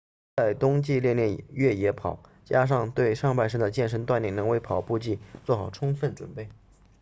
在冬季练练越野跑加上对上半身的健身锻炼能为跑步季做好充分准备